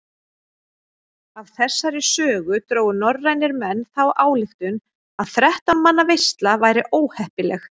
Af þessari sögu drógu norrænir menn þá ályktun að þrettán manna veisla væri óheppileg.